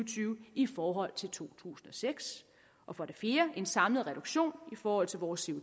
tyve i forhold til to tusind og seks og for det fjerde en samlet reduktion i forhold til vores